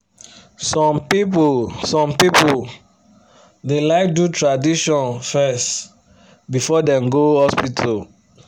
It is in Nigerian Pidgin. some people some people da like do tradition fes before dem go hospital